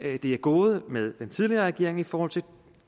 det er gået med den tidligere regering i forhold til